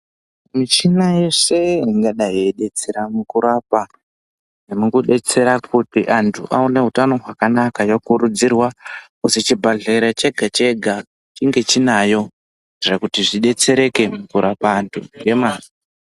Michina yese ingadai yeidetsera mukurapa nemukudetsera kuti anthu aone utano hwakanaka yokurudzirwa chibhadhlera chega chega chinge chinayo zvekuti zvidetsereke kurapa anthu.